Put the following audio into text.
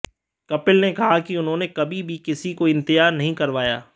कपिल ने कहा कि उन्होंने कभी भी किसी को इंतजार नहीं करवाया